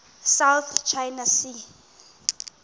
south china sea